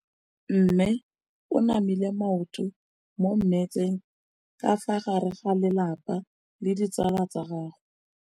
Mme o namile maoto mo mmetseng ka fa gare ga lelapa le ditsala tsa gagwe.